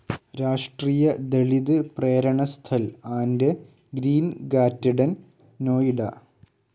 രാഷ്ട്രീയ Dalit Prerna Sthal and green garden, Noida